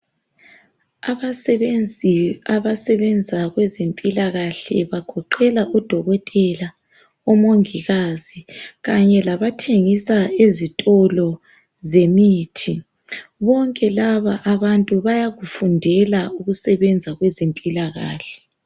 Abasebenzi abasebenza kwezempilakahle bagoqela udokotela, umongikazi kanye labathengisa ezitolo zemithi. Bonke laba abantu bayakufundela ukusebenza kwezempilakahle.